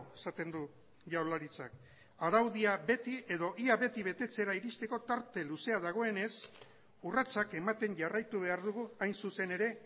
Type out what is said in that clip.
esaten du jaurlaritzak araudia beti edo ia beti betetzera iristeko tarte luzea dagoenez urratsak ematen jarraitu behar dugu hain zuzen ere